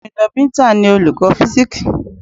Omidan Binta ni Olùkọ́ físíksì.